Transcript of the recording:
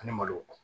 Ani malo